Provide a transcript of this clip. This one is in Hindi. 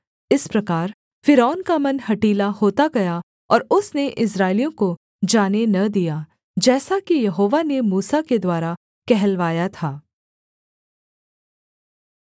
इस प्रकार फ़िरौन का मन हठीला होता गया और उसने इस्राएलियों को जाने न दिया जैसा कि यहोवा ने मूसा के द्वारा कहलवाया था